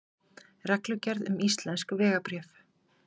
reglugerð um íslensk vegabréf